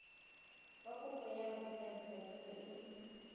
fa kopo ya botsadikatsholo e